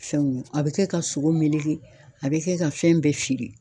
Fɛnw ye a bɛ kɛ ka sogo meleke a bɛ kɛ ka fɛn bɛɛ feere.